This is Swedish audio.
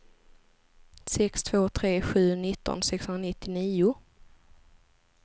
sex två tre sju nitton sexhundranittionio